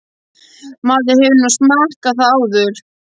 Maður hefur nú smakkað það áður.